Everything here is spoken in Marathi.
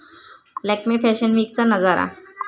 लॅक्मे फॅशन वीकचा नजारा